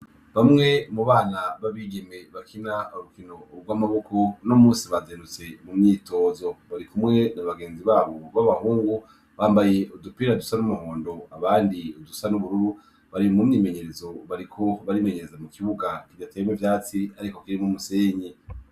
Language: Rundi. Bamwe mu bana b'abigeme bakunda ubukino bw'amaboko uno munsi bazindutse mu myitozo, barikumwe na bagenzi babo b'abahungu bambaye udupira dusa n'umuhondo abandi dusa n'ubururu bari mu myimenyerezo bariko barimenyereza mu kibuga kidateyemwo ivyatsi ariko kirimwo umusenyi.